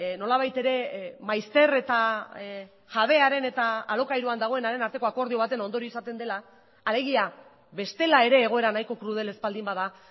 nolabait ere maizter eta jabearen eta alokairuan dagoenaren arteko akordio baten ondorio izaten dela alegia bestela ere egoera nahiko krudel ez baldin bada